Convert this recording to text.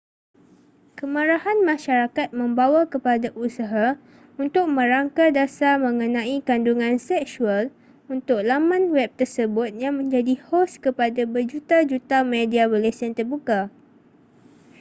kemarahan masyarakat membawa kepada usaha untuk merangka dasar mengenai kandungan seksual untuk laman web tersebut yang menjadi hos kepada berjuta-juta media berlesen terbuka